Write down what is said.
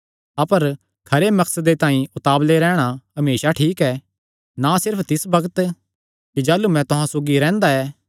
अपर खरे मकसदे तांई उतावल़े रैहणा हमेसा ठीक ऐ ना सिर्फ तिस बग्त कि जाह़लू मैं तुहां सौगी रैंह्दा ऐ